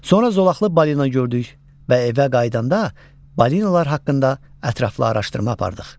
Sonra zolaqlı balina gördük və evə qayıdanda balinalar haqqında ətraflı araşdırma apardıq.